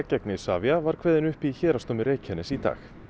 gegn Isavia var kveðinn upp í Héraðsdómi Reykjaness í dag